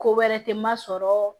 Ko wɛrɛ tɛ n ma sɔrɔ